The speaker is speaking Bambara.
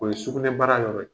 O ye s sugunɛ bara yɔrɔ yr.